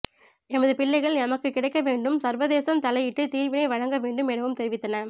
எமது பிள்ளைகள் எமக்கு கிடைக்க வேண்டும் சர்வதேசம் தலையிட்டு தீர்வினை வழங்க வேண்டும் எனவும் தெரிவித்தன